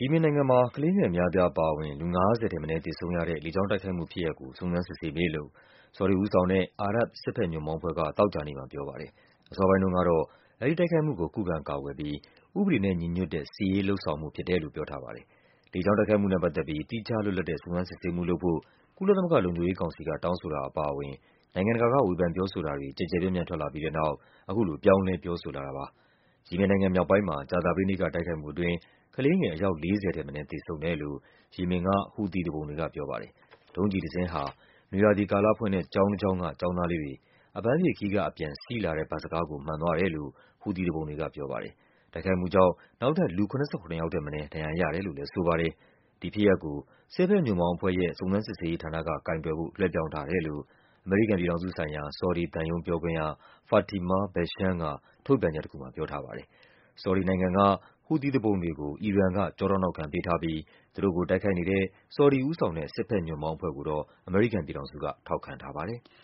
ီမင်နိုင်ငံမှာ ကလေးငယ်အများအပြားအပါအဝင် လူ ၅၀ ထက်မနည်း သေဆုံးရတဲ့ လေကြောင်းတိုက်ခိုက်မှုဖြစ်ရပ်ကို စုံစမ်း စစ်ဆေးမယ်လို့ ဆော်ဒီဦးဆောင်တဲ့ အာရပ်ဘ် စစ်ဘက်ညွန့်ပေါင်းအဖွဲ့က သောကြာနေ့မှာပြောပါတယ်။ အစောပိုင်းတုန်းက တော့ တိုက်ခိုက်မှုကို ခုခံကာကွယ်ပြီး “ဥပဒေနဲ့ညီညွတ်တဲ့ စစ်ရေးလုပ်ဆောင်မှု” လို့ ပြောထားပါတယ်။ လေကြောင်းတိုက်ခိုက်မှုနဲ့ ပတ်သက်ပြီး သီးခြားလွတ်လပ်တဲ့ စုံစမ်းစစ်ဆေးမှုလုပ်ဖို့ ကုလသမဂ္ဂ လုံခြုံရေးကောင်စီက တောင်းဆို တာအပါအဝင် နိုင်ငံတကာက ဝေဖန်ပြောဆိုတာတွေ ကျယ်ကျယ်ပြန့်ပြန့် ထွက်လာပြီးတဲ့နောက် အခုလို ပြောင်းလဲ ပြောဆိုလာ တာပါ။ ယီမင်နိုင်ငံမြောက်ပိုင်းမှာ ကြာသပတေးနေ့က တိုက်ခိုက်မှုအတွင်း ကလေးငယ် အယောက် ၄၀ ထက်မနည်း သေဆုံးတယ်လို့ ယီမင်က ဟူသီသူပုန်တွေကပြောပါတယ်။ ဒုံးကျည်တစင်းဟာ နွေရာသီကာလဖွင့်တဲ့ ကျောင်းတကျောင်းက ကျောင်းသားလေး တွေ အပန်းဖြေခရီးကအပြန် စီးလာတဲ့ဘတ်စ်ကားကို မှန်သွားတယ်လို့ ဟူသီသူပုန်တွေက ပြောပါတယ်။ တိုက်ခိုက်မှုကြောင့် နောက်ထပ် လူ ၇၇ ယောက်ထက်မနည်း ဒဏ်ရာရတယ်လို့လည်း ဆိုပါတယ်။ ဒီဖြစ်ရပ်ကို စစ်ဘက်ညွန့်ပေါင်းအဖွဲ့ရဲ့ စုံစမ်းစစ်ဆေးရေးဌာနကကိုင်တွယ်ဖို့ လွှဲပြောင်းထားတယ်လို့ အမေရိကန်ပြည်ထောင်စု ဆိုင်ရာ ဆော်ဒီသံရုံး ပြောခွင့်ရ Fatimah Baeshen က ထုတ်ပြန်ချက်တခုမှာ ပြောထားပါတယ်။ ဆော်ဒီက ဟူသီသူပုန်တွေကို အီရန်က ကျောထောက်နောက်ခံပေးထားပြီး သူတို့ကိုတိုက်ခိုက်နေတဲ့ ဆော်ဒီဦးဆောင်တဲ့ စစ်ဘက်ညွန့်ပေါင်းအဖွဲ့ကိုတော့ အမေရိကန်က ထောက်ခံထားပါတယ်။